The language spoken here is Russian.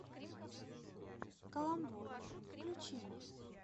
каламбур включи мне